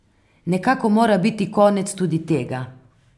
Nekako mora biti konec tudi tega.